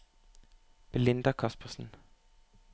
Belinda Caspersen